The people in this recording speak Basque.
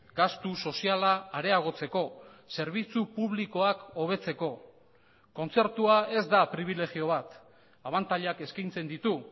gastu soziala areagotzeko zerbitzu publikoak hobetzeko kontzertua ez da pribilegio bat abantailak eskaintzen ditu